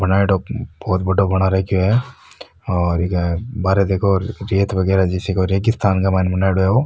बनाई डो बहुत बड़ाे बना राखयो है और इके बहारे देखो रेत वगेरा जैसी कोई रेगिस्थान के मायने बनाईडो है ओ।